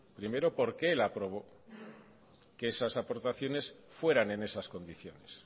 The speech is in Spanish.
primero porque él aprobó que esas aportaciones fueran en esas condiciones